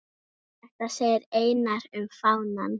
Þetta segir Einar um fánann